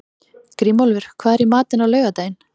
Grímólfur, hvað er í matinn á laugardaginn?